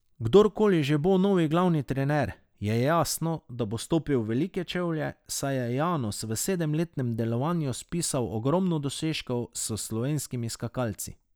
Kdorkoli že bo novi glavni trener, je jasno, da bo stopil v velike čevlje, saj je Janus v sedemletnem delovanju spisal ogromno dosežkov s slovenskimi skakalci.